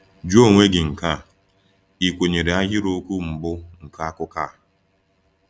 Jụọ onwe gị nke a: “Ị kwenyere ahịrịokwu mbụ nke akụkọ a?”